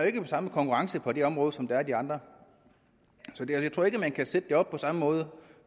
ikke samme konkurrence på det område som der er på de andre så jeg tror ikke at man kan sætte det op på samme måde